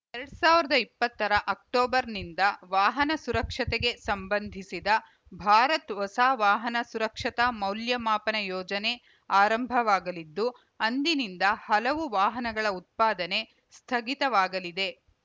ಎರಡ್ ಸಾವಿರದ ಇಪ್ಪತ್ತರ ಅಕ್ಟೋಬರ್‌ನಿಂದ ವಾಹನ ಸುರಕ್ಷತೆಗೆ ಸಂಬಂಧಿಸಿದ ಭಾರತ್‌ ಹೊಸ ವಾಹನ ಸುರಕ್ಷತಾ ಮೌಲ್ಯಮಾಪನ ಯೋಜನೆ ಆರಂಭವಾಗಲಿದ್ದು ಅಂದಿನಿಂದ ಹಲವು ವಾಹನಗಳ ಉತ್ಪಾದನೆ ಸ್ಥಗಿತವಾಗಲಿದೆ